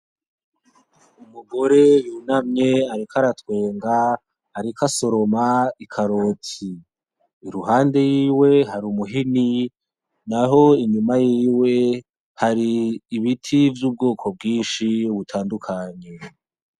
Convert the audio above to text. Umugore yunamye ariko aratwenga , ariko asoroma i karoti, Iruhande yiwe hari umuhini, naho iruhande yiwe hari ibiti vyubgoko bginshi butandukanye .